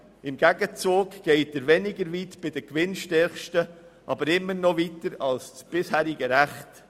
Im Gegenzug geht er bei den gewinnstärksten weniger weit, aber immer noch weiter als das bisherige Recht.